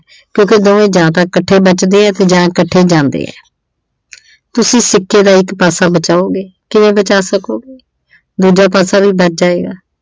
ਕਿਉਂਕਿ ਦੋਵੇਂ ਜਾਂ ਤਾਂ ਇੱਕਠੇ ਬਚ ਦੇ ਆ ਜਾਂ ਇੱਕਠੇ ਜਾਂਦੇ ਆ ਤੁਸੀਂ ਸਿੱਕੇ ਦਾ ਇੱਕ ਪਾਸਾ ਬਚਾਉਗੇ ਕਿਵੇਂ ਬਚਾ ਸਕੋਗੇ ਦੂਜਾ ਪਾਸਾ ਵੀ ਬਚ ਜਾਏਗਾ।